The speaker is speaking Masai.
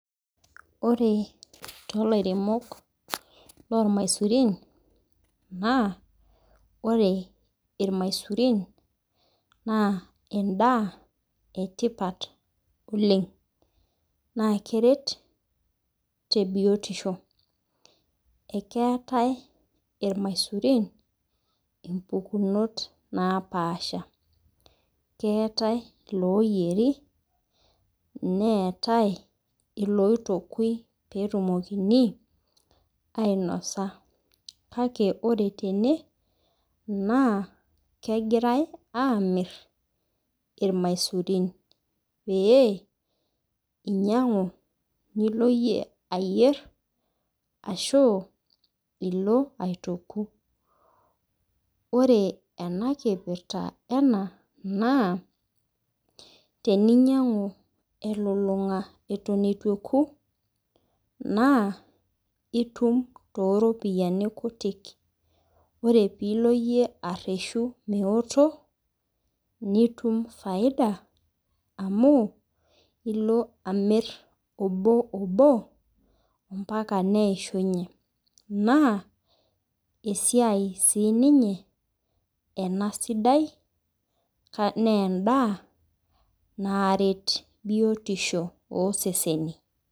Ore tolairemok lomaisurin na ore irmaisurin na endaa etipat oleng na keret te biotisho ,ore irmaisurin ompukunot napaasha keetae loyieri neetae lotokui petumoki ainosa kake ore tene na kegirai amir irmaisurin peinyangu Nilo amir ashu ilo aituku ore enakipirra ena na teninyangu elulunga itj etoku na itum toropiyani kutik ore pilo areshu metoku nitum faida nilo amir oboobo mbaka neshunye na esiai ena sidai neendaa naret biotisho oseseni.